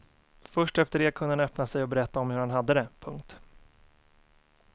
Först efter det kunde han öppna sig och berätta om hur han hade det. punkt